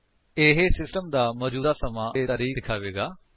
ਇਹ ਸਿਸਟਮ ਦਾ ਮੌਜੂਦਾ ਸਮਾਂ ਅਤੇ ਤਾਰੀਖ਼ ਦਿਖਾਵੇਗਾ